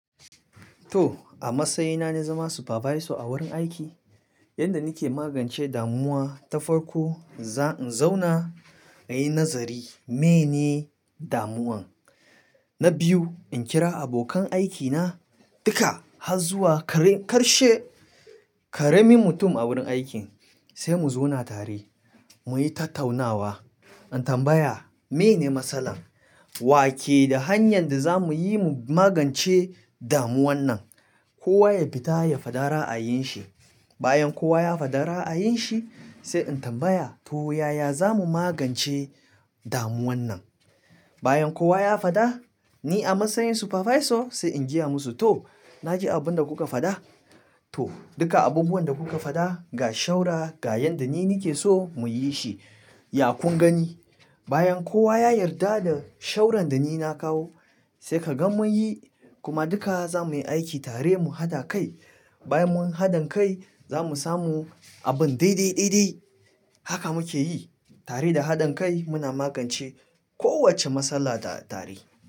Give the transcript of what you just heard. To, a matsayina na zama supervisor a wurin aiki, yanda nake magance damuwa ta farko in zauna in yi nazari meye ne damuwan. Na biyu in kira abokan aikina dukka har zuwa karshe, ƙaramin mutum a wurin aikin sai mu zauna tare mu yi tattaunawa. In tambaya meye ne masalan, wa ke da hanyar da za mu yi mu magance damuwan nan. Kowa ya fita ya fada ra'ayin shi. Bayan kowa ya fada ra'ayin shi sai in tambaya to yaya za mu magance damuwan nan. Bayan kowa ya fada, ni a matsayin supervisor sai in gaya musu to na ji abunda kuka fada. To dukka abubuwan da kuka fada ga shawara, ga yanda ni nake so mu yi shi. Ya kun gani bayan kowa ya yarda da shawaran da ni na kawo sai ka ga mun yi kuma dukka za mu yi aiki tare mu haɗa kai. Bayan mun haɗan kai za mu samu abun daidai, daidai. Haka muke yi tare da haɗin kai muna magance kowacce matsala tare.